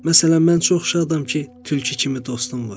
Məsələn, mən çox şadam ki, tülkü kimi dostum var.